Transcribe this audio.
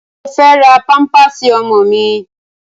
Mo fe ra pampasi ọmọ mi